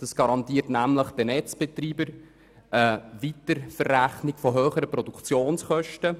Dieses garantiert nämlich den Netzbetreibern die Weiterverrechnung von höheren Produktionskosten.